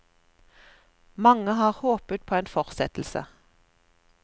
Mange har håpet på en fortsettelse.